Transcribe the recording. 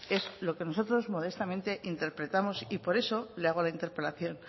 es lo que nosotros modestamente interpretamos y por eso le hago la interpelación